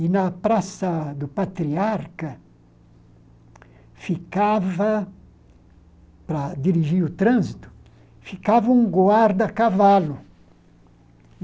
E na Praça do Patriarca, ficava para dirigir o trânsito, ficava um guarda à cavalo.